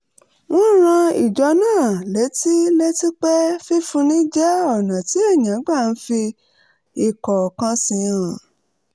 wọ́n rán ìjọ náà létí létí pé fífúnni jẹ́ ọ̀nà tí ènìyàn gbà ń fi ìfọkànsìn hàn